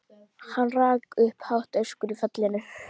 Hann rak upp hátt öskur í fallinu.